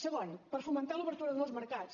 segon perquè fomenta l’obertura de nous mercats